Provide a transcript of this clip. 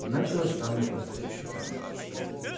начала с самых простых испытаний